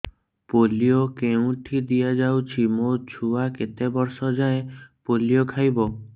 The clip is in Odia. ପୋଲିଓ କେଉଁଠି ଦିଆଯାଉଛି ମୋ ଛୁଆ କେତେ ବର୍ଷ ଯାଏଁ ପୋଲିଓ ଖାଇବ